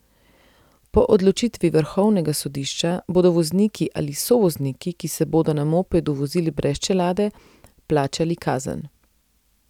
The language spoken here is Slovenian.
Po odločitvi vrhovnega sodišča bodo vozniki ali sovozniki, ki se bodo na mopedu vozili brez čelade, plačali kazen.